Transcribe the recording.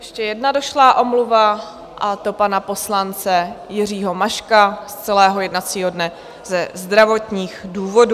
Ještě jedna došlá omluva, a to pana poslance Jiřího Maška z celého jednacího dne ze zdravotních důvodů.